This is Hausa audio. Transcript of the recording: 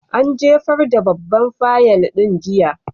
An jefar da babban fayil ɗin jiya.